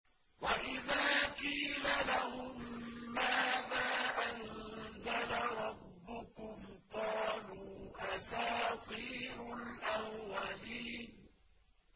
وَإِذَا قِيلَ لَهُم مَّاذَا أَنزَلَ رَبُّكُمْ ۙ قَالُوا أَسَاطِيرُ الْأَوَّلِينَ